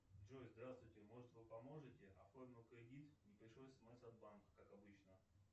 джой здравствуйте может вы поможете оформил кредит не пришло смс от банка как обычно